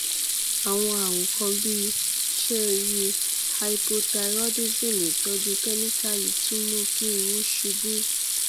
àwọn àrùn kan bíi ṣẹ́ẹ ríi hypothyroidism ìtọ́jú kẹ́míkà yìí tún mú kí irun ṣubú